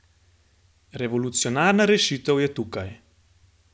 Revolucionarna rešitev je tukaj!